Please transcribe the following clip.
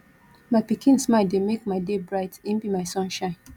my pikin smile dey make my day bright im be my sunshine